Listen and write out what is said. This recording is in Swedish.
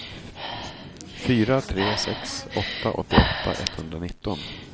fyra tre sex åtta åttioåtta etthundranitton